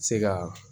Se ka